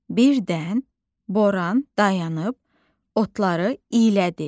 Birdən Boran dayanıb otları iylədi.